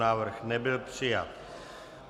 Návrh nebyl přijat.